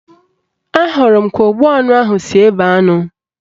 Ahụrụ m ka ogbu anụ ahụ si ebe anụ